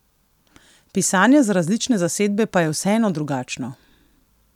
Pisanje za različne zasedbe pa je vseeno drugačno.